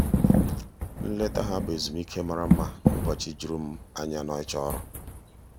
nleta ha bụ ezumike mara mma n’ụbọchị juru m anya n’ịchọ ọrụ.